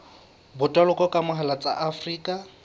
botoloki ka mohala tsa afrika